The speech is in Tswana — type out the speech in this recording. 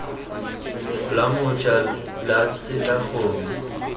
la moja la tsela gongwe